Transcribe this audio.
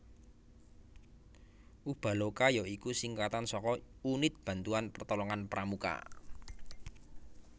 Ubaloka ya iku singkatan saka Unit Bantuan Pertolongan Pramuka